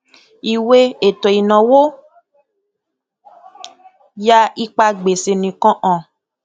ìwé ètòìnáwó yà ipa gbèsè nìkan hàn